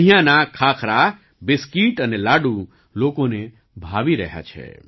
અહીંયાના ખાખરા બિસ્કિટ અને લાડુ લોકોને ભાવી રહ્યા છે